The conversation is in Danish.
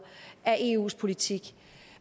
af eus politik